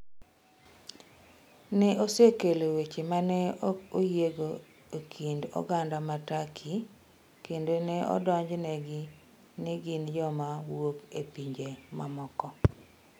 Ne osekelo weche ma ne ok oyiego e kind oganda ma Turkey kendo ne odonjnegi ni gin joma wuok e pinje mamoko.